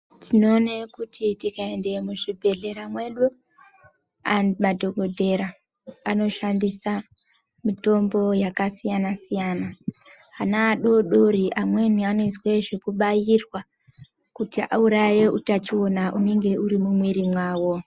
Tinoone kuti tikaenda muzvibhedhlera mwedu madhokodhera anoshandise mitombo yakasiyana siyana ana adodori amweni anoizwe zvekubairwa kuti auraye utachiona hunenge huri mumwiri mwao.